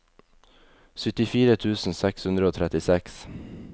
syttifire tusen seks hundre og trettiseks